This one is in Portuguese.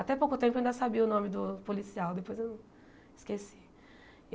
Até pouco tempo eu ainda sabia o nome do policial, depois eu esqueci.